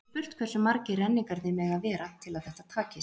Við getum spurt hversu margir renningarnir mega vera til að þetta takist.